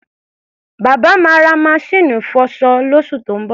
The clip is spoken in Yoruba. Bàbá máa ra maṣíìnì ìfọṣọ lóṣù tó ń bọ̀.